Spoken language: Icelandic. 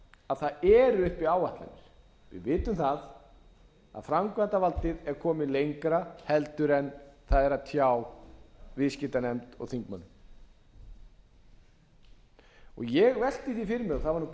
að það eru upp áætlanir við vitum það að framkvæmdarvaldið er komið lengra en það er að tjá viðskiptanefnd og þingmönnum ég velti því fyrir mér og það væri